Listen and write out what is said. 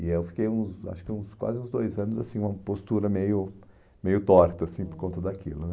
E eu fiquei uns, acho que uns quase uns dois anos, assim uma postura meio meio torta assim por conta daquilo.